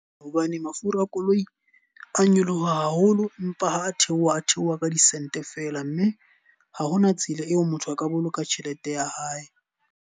Hobane mafura a koloi a nyoloha haholo empa ha a theoha, a theoha ka di-cent fela. Mme ha hona tsela eo motho a ka boloka tjhelete ya hae.